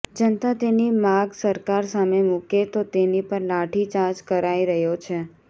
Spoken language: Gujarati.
જનતા તેની માગ સરકાર સામે મુકે તો તેની પર લાઠી ચાર્જ કરાઈ રહ્યો છે